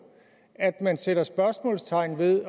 at man sætter spørgsmålstegn ved det